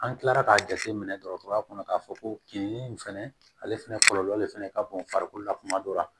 An kilara k'a jate minɛ dɔgɔtɔrɔya kɔnɔ k'a fɔ ko kin fɛnɛ ale fɛnɛ kɔlɔlɔ de fɛnɛ ka bon farikolo la kuma dɔ la